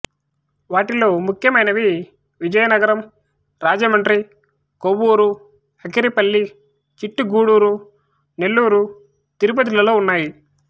వాటిలో ముఖ్యమైనవి విజయనగరం రాజమండ్రి కొవ్వూరు అకిరిపల్లి చిట్టిగూడురు నెల్లూరు తిరుపతి లలో ఉన్నాయి